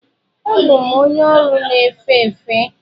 Abụ m onye ọrụ na-efe efe.